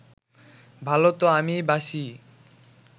ভালো তো আমি বাসিই